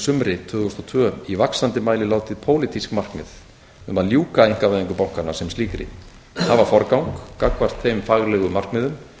sumri tvö þúsund og tvö í vaxandi mæli látið pólitísk markmið um að ljúka einkavæðingu bankanna sem slíkri hafa forgang gagnvart þeim faglegu markmiðum